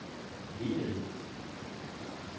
ligeledes